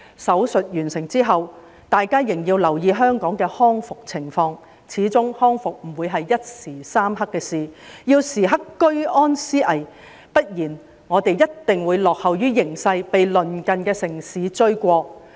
"手術"完成之後，大家仍要留意香港的康復情況，始終康復不會是一時三刻的事，要時刻居安思危，不然我們一定會落後於形勢，被鄰近的城市追過。